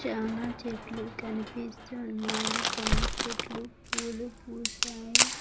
చానా చెట్లు కనిపిస్తున్నాయి కొన్ని చెట్లు పూలు పూసాయి.